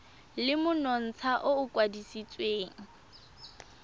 le monontsha o o kwadisitsweng